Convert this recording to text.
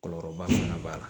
Kɔlɔlɔba fana b'a la